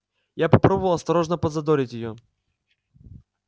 я попробовал осторожно подзадорить её